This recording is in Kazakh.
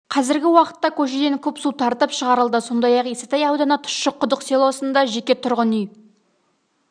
қазіргі уақытта көшеден куб су тартып шығарылды сондай-ақ исатай ауданы тұщы құдық селосында жеке тұрғын үй